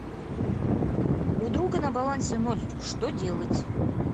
у друга на балансе ноль что делать